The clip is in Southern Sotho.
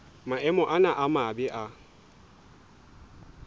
maemo ana a mabe a